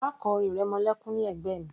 Má kọ orin ìrẹmọlékún ní ẹ̀gbẹ́ mi